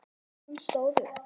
Hún stóð upp.